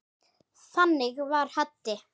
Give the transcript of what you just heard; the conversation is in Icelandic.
Þannig var Haddi.